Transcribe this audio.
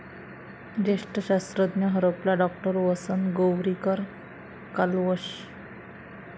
ज्येष्ठ शास्त्रज्ञ हरपला, डॉ. वसंत गोवारीकर कालवश